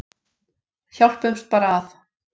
Hjálpumst bara að.